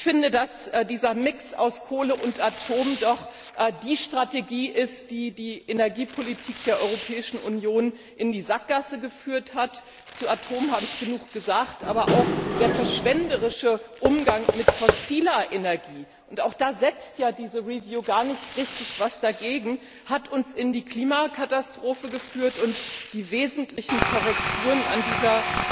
Ich finde, dass gerade dieser Mix aus Kohle und Atom die Strategie ist, die die Energiepolitik der Europäischen Union in die Sackgasse geführt hat. Zu Atom habe ich genug gesagt, aber auch der verschwenderische Umgang mit fossiler Energie und auch da setzt ja dieser Review gar nicht richtig etwas dagegen hat uns in die Klimakatastrophe geführt, und die wesentlichen Korrekturen an dieser